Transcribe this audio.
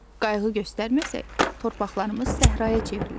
Qayğı göstərməsək, torpaqlarımız səhraya çevrilər.